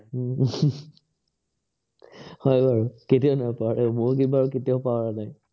উম হয় বাৰু, কেতিয়াও নাপাহৰে, মইও বাৰু কেতিয়াও পাহৰা নাই।